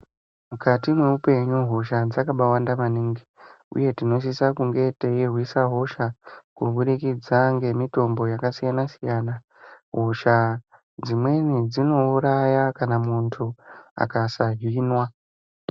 Mukati mweupenyu hosha dzakamba wanda maningi uye tinosisa kurwisa hosha kumudikidza nemitombo yakasiyana siyana hosha dzimweni dzinouraya kana muntu akasa hinwa